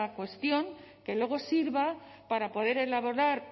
cuestión que luego sirva para poder elaborar